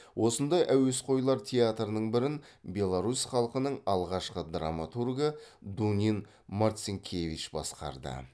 осындай әуесқойлар театрының бірін беларусь халқының алғашқы драматургы дунин марцинкевич басқарды